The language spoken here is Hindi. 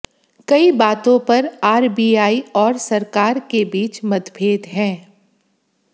कई बातों पर आरबीआई और सरकार के बीच मतभेद हैं